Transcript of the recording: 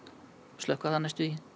slökkva það næstum því